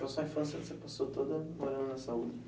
Então, sua infância você passou toda morando na Saúde?